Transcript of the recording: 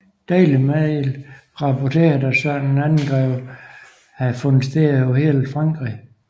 Daily Mail rapporterede at sådanne angreb havde fundet sted over hele Frankrig